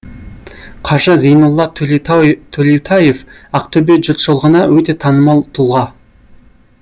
қажы зейнолла төлеутаев ақтөбе жұртшылығына өте танымал тұлға